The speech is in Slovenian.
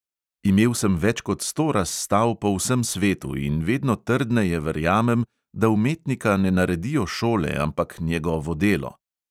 Imel sem več kot sto razstav po vsem svetu in vedno trdneje verjamem, da umetnika ne naredijo šole, ampak njegovo delo.